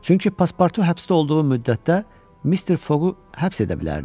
Çünki Paspartu həbsdə olduğu müddətdə Mister Foqu həbs edə bilərdi.